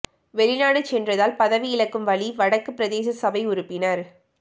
வெளிநாடு சென்றதால் பதவி இழக்கும் வலி வடக்கு பிரதேச சபை உறுப்பினர்